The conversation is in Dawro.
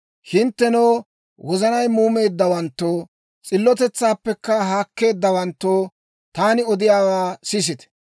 «Hinttenoo wozanay muumeeddawanttoo, s'illotetsaappekka haakkeeddawanttoo, taani odiyaawaa sisite;